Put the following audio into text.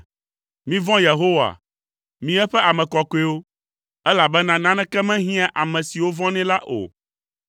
Mivɔ̃ Yehowa, mi eƒe ame kɔkɔewo, elabena naneke mehiãa ame siwo vɔ̃nɛ la o.